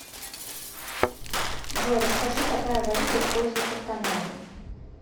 джой расскажи какая валюта используется в канаде